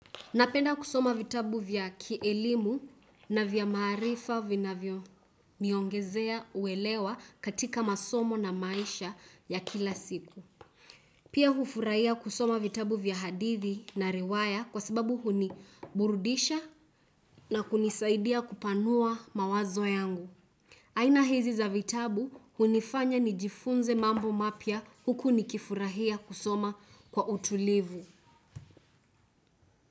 Napenda kusoma vitabu vya kielimu na vya marifa vinavyo niongezea kuelewa katika masomo na maisha ya kila siku. Pia hufurahia kusoma vitabu vya hadithi na riwaya kwa sababu huni burudisha na kunisaidia kupanua mawazo yangu. Aina hizi za vitabu hunifanya nijifunze mambo mapyia huku nikifurahia kusoma kwa utulivu.